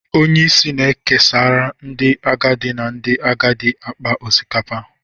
onye isi na-ekesara ndị agadi na ndị agadi akpa osikapa